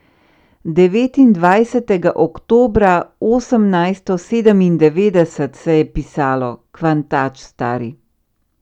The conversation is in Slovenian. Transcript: Devetindvajsetega oktobra osemnajsto sedemindevetdeset se je pisalo, kvantač stari.